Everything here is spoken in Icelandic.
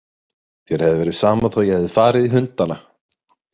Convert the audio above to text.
Þér hefði verið sama þó ég hefði farið í hundana.